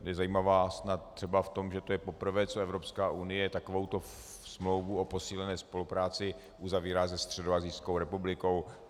Je zajímavá snad třeba v tom, že to je poprvé, co Evropská unie takovouto smlouvu o posílené spolupráci uzavírá se středoasijskou republikou.